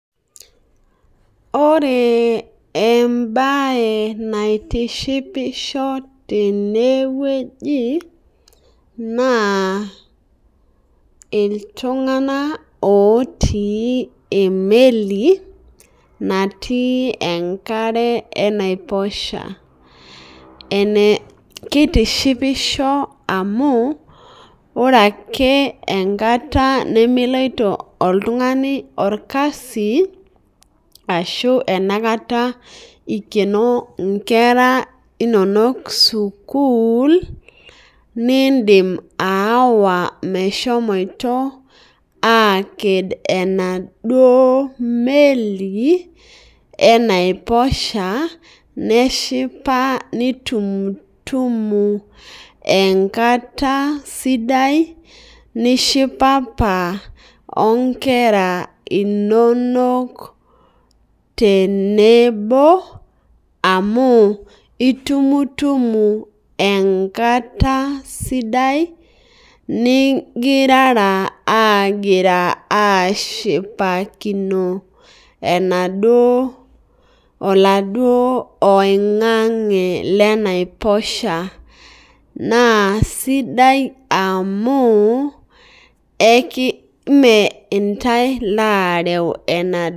Ore embae naitishipisho tenewueji ma iltunganak otii emeli natii enkarae enaiposho kitishipisho amu ore enkata nemeiloto oltungani aormasi ashu enoshikata ikeno nkwra inonok sikul indim ayawa metekedo emaduo meli enaiposhaneshipa nitumtumu enkata sidai nishipapa onkera inono tenebo amu itumtumu enkata sidai ningirara ashipakino enaduo oladuo oingangi lenaiposha na sidai amu meentae oreu enaduo.